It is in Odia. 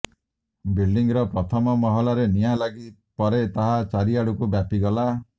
ବିଲଡିଂର ପ୍ରଥମ ମହଲାରେ ନିଆଁ ଲାଗି ପରେ ତାହା ଚାରିଆଡକୁ ବ୍ୟାପିଗଲା